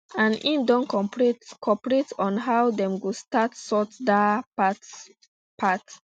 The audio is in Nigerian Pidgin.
and im don cooperate on how dem go sort dat um part um part